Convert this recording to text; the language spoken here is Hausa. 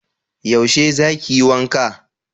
yaushe za ki yi wanka?